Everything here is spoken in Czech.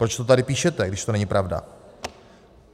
Proč to tady píšete, když to není pravda?